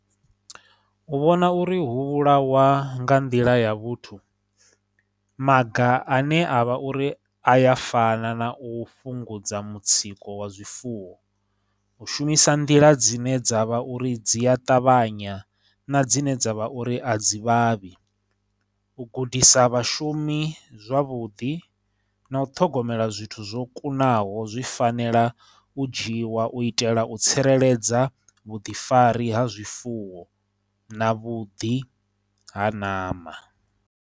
U vhona uri hu vhulawa nga nḓila ya vhuthu, maga ane a vha uri aya fana, na u fhungudza mutsiko wa zwifuwo, u shumisa nḓila dzine dza vha uri dzi ya ṱavhanya, na dzine dza vha uri a dzi vhavhi. U gudisa vhashumi zwavhuḓi, na u ṱhogomela zwithu zwo kunaho, zwi fanela u dzhiwa u itela u tsireledza vhuḓifari ha zwifuwo na vhuḓi ha ṋama.